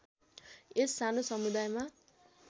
यस सानो समुदायमा